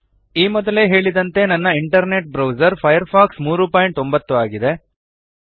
ಈ ಮೊದಲೇ ಹೇಳಿದಂತೆ ನನ್ನ ಇಂಟರ್ನೆಟ್ ಬ್ರೌಸರ್ ಫೈರ್ಫಾಕ್ಸ್ 309 ಆಗಿದೆ